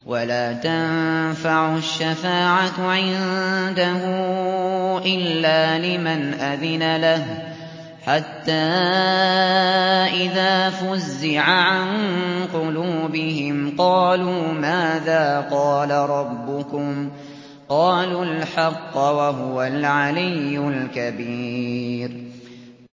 وَلَا تَنفَعُ الشَّفَاعَةُ عِندَهُ إِلَّا لِمَنْ أَذِنَ لَهُ ۚ حَتَّىٰ إِذَا فُزِّعَ عَن قُلُوبِهِمْ قَالُوا مَاذَا قَالَ رَبُّكُمْ ۖ قَالُوا الْحَقَّ ۖ وَهُوَ الْعَلِيُّ الْكَبِيرُ